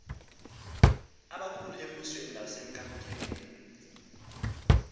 abakhulu embusweni nasebukamkanini